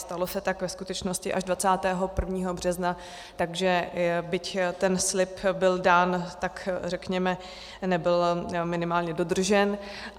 Stalo se tak ve skutečnosti až 21. března, takže byť ten slib byl dán, tak řekněme nebyl minimálně dodržen.